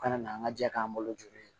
U kana n'an ka jɛ k'an bolo joginlen